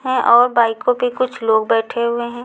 हैं और बाइकों पे कुछ लोग बैठे हुए हैं।